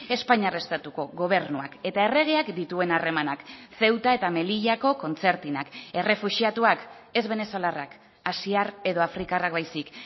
espainiar estatuko gobernuak eta erregeak dituen harremanak ceuta eta melillako kontzertinak errefuxiatuak ez venezolarrak asiar edo afrikarrak baizik